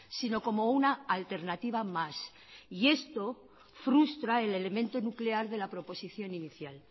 sino como una alternativa más y esto frustra el elemento nuclear de la proposición inicial